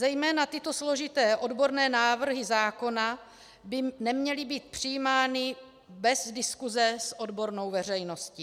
Zejména tyto složité odborné návrhy zákona by neměly být přijímány bez diskuse s odbornou veřejností.